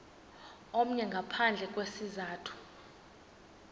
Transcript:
omnye ngaphandle kwesizathu